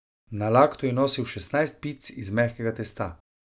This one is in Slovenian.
Na laktu je nosil šestnajst pic iz mehkega testa.